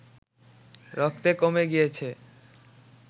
রক্তে কমে গিয়েছে